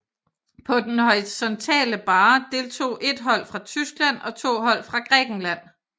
På den horisontale barre deltog ét hold fra Tyskland og to hold fra Grækenland